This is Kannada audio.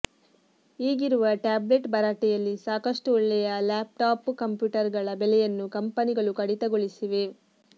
ಈಗಿರುವ ಟ್ಯಾಬ್ಲೆಟ್ ಭರಾಟೆಯಲ್ಲಿ ಸಾಕಷ್ಟು ಒಳ್ಳೆಯ ಲ್ಯಾಪ್ಟಾಪ್ ಕಂಪ್ಯೂಟರ್ ಗಳ ಬೆಲೆಯನ್ನು ಕಂಪನಿಗಳು ಕಡಿತಗೊಳಿಸಿವೆ